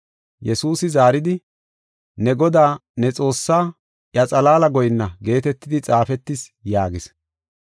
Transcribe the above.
Yesuusi zaaridi, “Ne Godaa, ne Xoossaa, iya xalaala goyinna geetetidi xaafetis” yaagis.